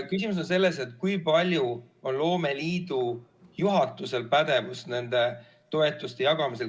Küsimus on selles, kui palju on loomeliidu juhatusel pädevust nende toetuste jagamisel.